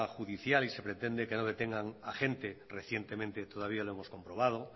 judicial y se pretende que no detengan a gente recientemente todavía lo hemos comprobado